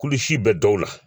Kulusi bɛ dɔw la